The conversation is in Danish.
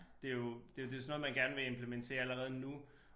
Det jo det det sådan noget man gerne vil implementere allerede nu